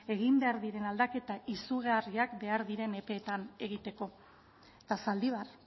egin behar diren aldaketa izugarriak behar diren epeetan egiteko eta zaldibar